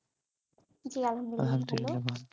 জি আলহামদুলিল্লাহ